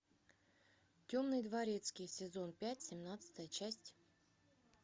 темный дворецкий сезон пять семнадцатая часть